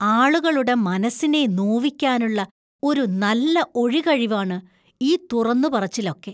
ആളുകളുടെ മനസിനെ നോവിക്കാനുള്ള ഒരു നല്ല ഒഴികഴിവാണ് ഈ തുറന്നുപറച്ചിലൊക്കെ.